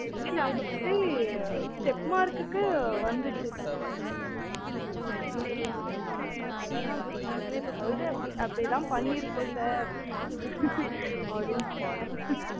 இல்ல mostly step mark க்கு வந்துச்சு sir ம் mark வந்துச்சு அதெல்லாம் பிரச்சனை இல்ல சொல்றன் அப்டி அப்டிலாம் பண்ணிருக்கோம் sir அப்டீன்னு